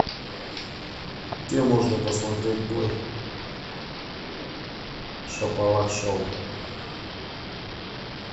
где можно посмотреть бой шапалак шоу